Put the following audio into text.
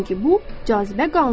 Çünki bu cazibə qanunudur.